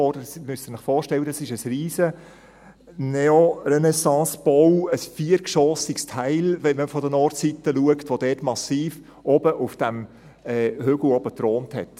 Das müssen Sie sich vorstellen, das ist ein Riesen-Neo-Renaissance-Bau, ein viergeschossiges Teil, wenn man von der Nordseite schaut, das dort massiv oben auf dem Hügel thronte.